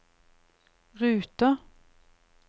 ruter